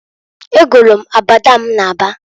Egolu m abada m na aba.